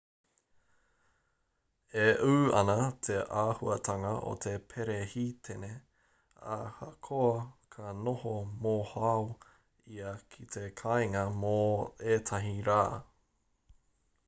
e ū ana te āhuatanga o te perehitene ahakoa ka noho mohoao ia ki te kāinga mō ētahi rā